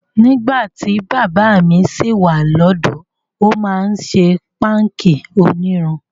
Nígbà tí bàbá mi ṣì wà lọ́dọ̀ọ́, ó máa ń ṣè páńkì onírun.